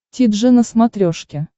ти джи на смотрешке